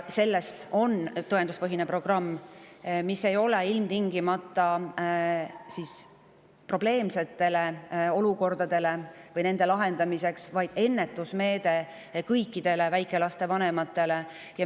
See on tõenduspõhine programm, mis ei ole ilmtingimata mõeldud probleemsete olukordade lahendamiseks, vaid on ennetusmeede kõikide väikelaste vanemate jaoks.